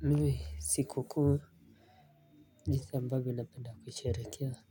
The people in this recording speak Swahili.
Mimi siku kuu jinsi ambavyo napenda kusherekea